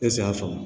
Ese y'a faamu